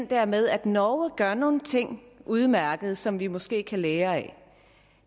der med at norge gør nogle ting udmærket som vi måske kan lære af at